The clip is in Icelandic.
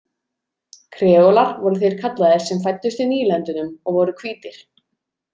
Kreólar voru þeir kallaðir sem fæddust í nýlendunum og voru hvítir.